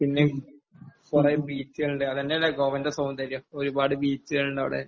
പിന്നെ കുറെ ബീച്ചുകളുണ്ട്. അത് തന്നെയല്ലേ ഗോവയുടെ സൗന്ദര്യം. ഒരുപാട് ബീച്ചുകളുണ്ട് അവിടെ.